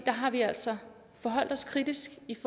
har vi altså forholdt os kritisk